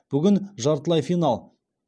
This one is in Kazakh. бүгін жартылай финал